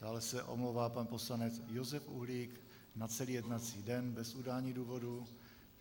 Dále se omlouvá pan poslanec Josef Uhlík na celý jednací den bez udání důvodu.